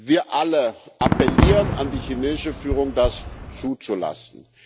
Wir alle appellieren an die chinesische Führung, das zuzulassen.